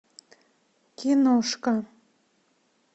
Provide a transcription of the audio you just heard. киношка